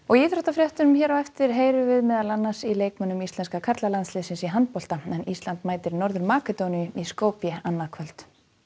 íþróttafréttum hér á eftir heyrum við meðal annars í leikmönnum íslenska karlalandsliðsins í handbolta ísland mætir Norður Makedóníu í Skopje annað kvöld